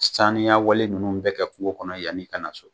Saniyawale ninnu bɛɛ kɛ kungo kɔnɔ yanni i ka na na so